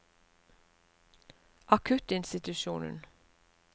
akuttinstitusjonen